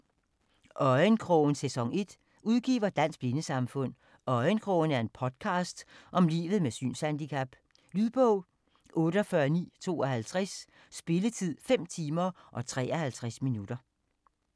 Øjenkrogen: sæson 1 Udgiver: Dansk Blindesamfund Øjenkrogen er en podcast om livet med et synshandicap. Lydbog 48958 Spilletid: 5 timer, 53 minutter.